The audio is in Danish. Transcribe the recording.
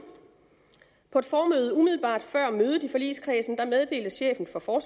på et formøde umiddelbart før mødet i forligskredsen meddelte chefen for for